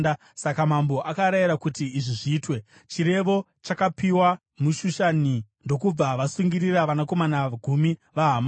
Saka mambo akarayira kuti izvi zviitwe. Chirevo chakapiwa muShushani, ndokubva vasungirira vanakomana gumi vaHamani.